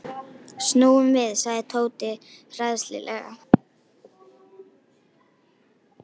Snúum við sagði Tóti hræðslulega.